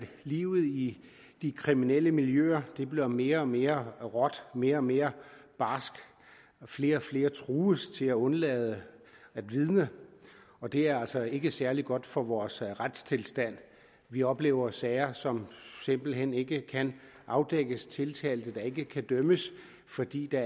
livet i de kriminelle miljøer bliver mere og mere råt mere og mere barsk flere og flere trues til at undlade at vidne og det er altså ikke særlig godt for vores retstilstand vi oplever sager som simpelt hen ikke kan afdækkes tiltalte der ikke kan dømmes fordi der